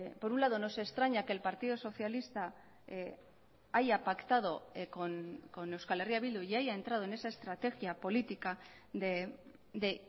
por un lado nos extraña que el partido socialista haya pactado con euskal herria bildu y haya entrado en esa estrategia política de